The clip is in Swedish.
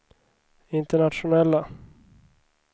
internationella